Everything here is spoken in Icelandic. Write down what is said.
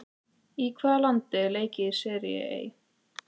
Í hvaða landi er leikið í Serie A?